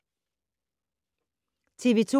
TV 2